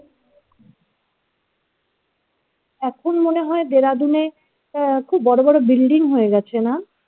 এখন মনে হয় Dehradun এ আহ খুব বড় বড় বিল্ডিং হয়ে গেছে না?